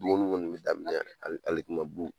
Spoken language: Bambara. Duguni kɔni bɛ daminɛ yan ali alikama bu.